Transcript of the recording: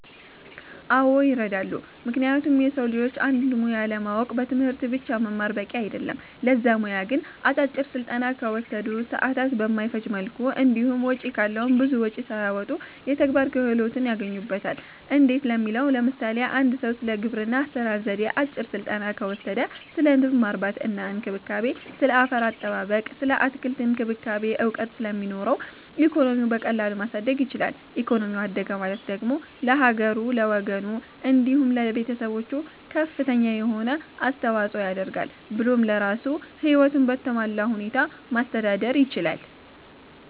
አዎ ይረዳሉ ምክንያቱም የሰዉ ልጆች አንድን ሙያ ለማወቅ በትምህርት ብቻ መማር በቂ አይደለም ለዛ ሙያ ግን አጫጭር ስልጠና ከወሰዱ፣ ሰዓትን በማይፈጅ መልኩ እንዲሁም ወጪ ካለዉም ብዙ ወጪም ሳያወጡ የተግባር ክህሎትን ያገኙበታል እንዴት ለሚለዉ ለምሳሌ፦ አንድ ሰዉ ስለ ግብርና አሰራር ዜዴ አጭር ስልጠና ከወሰደ ስለ ንብ ማነብ እና እንክብካቤ፣ ስለ አፈር አጠባበቅ ስለ አትክልት እክንክብካቤ እዉቀት ስለሚኖረዉ ኢኮኖሚዉን በቀላሉ ማሳደግ ይችላል ኢኮኖሚው አደገ ማለት ደግሞ ለሀገሩ፣ ለወገኑ፣ እንዲሁም ለቤተሰቦቹ ከፍተኛ የሆነ አስተዋፅኦ ያደርጋል ብሎም ለራሱም ህይወቱን በተሟላ ሁኔታ ማስተዳደር ይችላል።